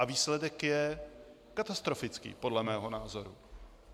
A výsledek je katastrofický podle mého názoru.